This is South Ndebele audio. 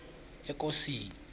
ekosini